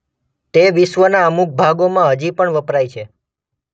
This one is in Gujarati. તે વિશ્વના અમુક ભાગોમાં હજી પણ વપરાય છે.